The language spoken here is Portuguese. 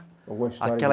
Alguma história aquela